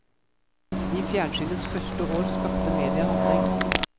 I fjernsynets første år skapte mediet handling.